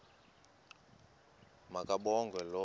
ma kabongwe low